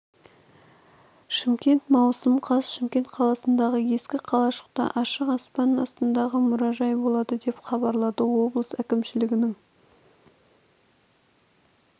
шымкент маусым қаз шымкент қаласындағы ескі қалашықта ашық аспан астындағы мұражай болады деп хабарлады облыс әкімшілігінің